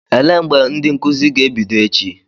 Elee mgbe ndị nkụzi ga-ebido echi?